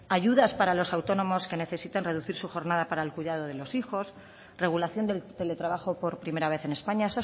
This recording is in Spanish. ayudas para los autónomos que necesitan reducir su jornada para el cuidado de los hijos regulación del teletrabajo por primera vez en españa